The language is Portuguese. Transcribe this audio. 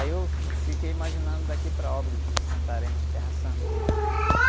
Aí eu... Fiquei imaginando daqui para Óbidos, Santarém, Terra Santa, né?